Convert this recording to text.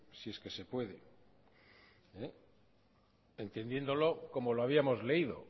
si es que se puede entendiéndolo como lo habíamos leído